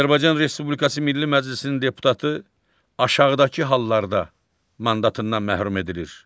Azərbaycan Respublikası Milli Məclisinin deputatı aşağıdakı hallarda mandatından məhrum edilir.